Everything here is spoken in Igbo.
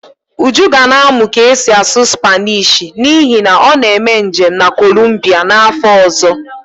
Uju ga na-amụ ka esi asụ Spanishi n'ihi na ọ na-eme njem na kolumbia n'afọ ọzọ